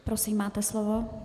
Prosím, máte slovo.